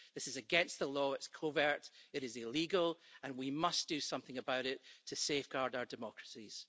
This is against the law, it's covert, it is illegal and we must do something about it to safeguard our democracies.